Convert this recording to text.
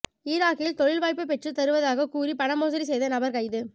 ஈராக்கில் தொழில் வாய்ப்பு பெற்று தருவதாக கூறி பண மோசடி செய்த நபர் கைது